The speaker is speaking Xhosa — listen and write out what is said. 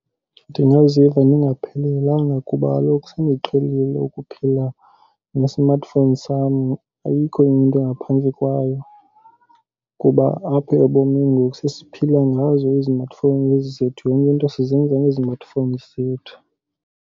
Ndingaziva ndingaphelelanga kuba kaloku sendiqhelile ukuphila nge-smartphone sam. Ayikho enye into ngaphandle kwayo kuba apha ebomini ngoku sesiphila ngazo i-smartphone nezi zethu. Yonke into sizenza ngezi-smartphone zethu.